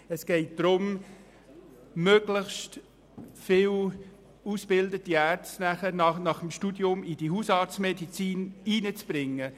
Es geht darum, möglichst viele ausgebildete Ärzte nach dem Studium in die Hausarztmedizin zu bringen.